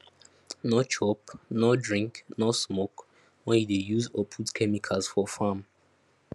no chop no drink no smoke when you dey use or put chemicals for farm